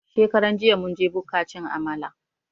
Shekaran jiya mun je buka cin Amala